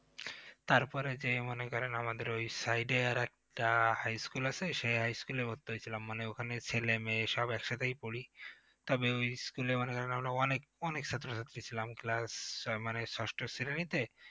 তারপর এই যে মনে করেন আমাদের ওই side এ আর একটা high school আছে সেই high school এ ভর্তি হয়েছিলাম মানে ওখানে ছেলেমেয়ে সব একসাথেই পড়ি তবে ওই school এ মনে করেন আমরা অনেক অনেক ছাত্র-ছাত্রী ছিলাম class আহ মানে ষষ্ঠ শ্রেণীতে